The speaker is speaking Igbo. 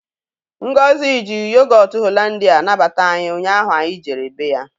Ngọzi ji Yogotụ Holandịa nabata anyị ụnyaahụ anyị jere bé ya.